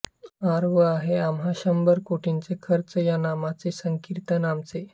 आर्व आहे आम्हा शंभर कोटीचे खर्व या नामाचे संकीर्तन आमूचे